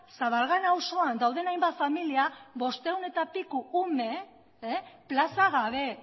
zabalgana auzoan dauden hainbat familia bostehun eta piko ume plaza gabe